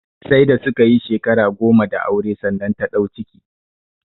Sai da su ka yi shekaru goma da aure sannan ta ɗau ciki